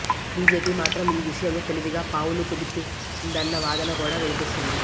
BJP మాత్రం ఈ విషయంలో తెలివిగా పావులు కదిపిందన్న వాదన కూడా వినిపిస్తోంది